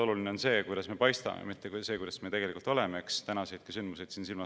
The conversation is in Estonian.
Oluline on see, kuidas me paistame, mitte see, millised me tegelikult oleme, tänaseidki sündmuseid silmas pidades.